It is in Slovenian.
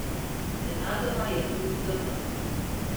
Nenadoma je hrup zamrl.